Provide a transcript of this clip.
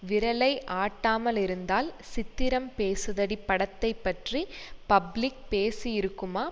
விரலை ஆட்டாமலிருந்தால் சித்திரம் பேசுதடி படத்தை பற்றி பப்ளிக் பேசியிருக்குமா